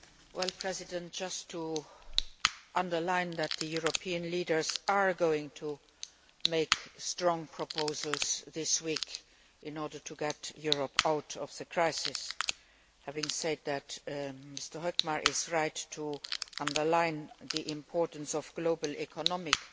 Madam President, I would like to underline that the European leaders are going to make strong proposals this week in order to get Europe out of the crisis. Having said that, Mr Hökmark is right to underline the importance of global economic